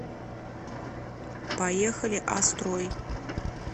поехали а строй